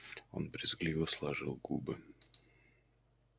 он брезгливо сложил губы